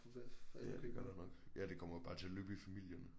Ja det gør der nok ja det kommer nok bare til at løbe i familien